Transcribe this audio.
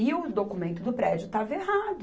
E o documento do prédio estava errado.